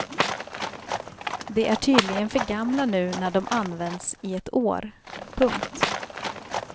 De är tydligen för gamla nu när de använts i ett år. punkt